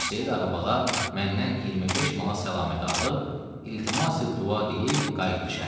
Hacı Seyid ağa bala məndən 25 manat səlaməti alıb, iltiması-dua deyib qayıtdı şəhərə.